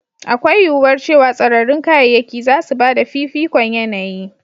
Akwai yuwuwar cewa tsararrun kayayyaki za su ba da fifikon yanayi.